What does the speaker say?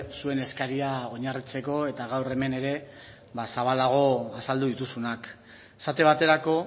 zuen eskaria oinarritzeko eta gaur hemen ere zabalago azaldu dituzunak esate baterako